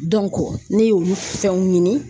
ne ye olu fɛnw ɲini